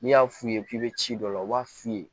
N'i y'a f'u ye k'i bɛ ci dɔ la u b'a f'u ye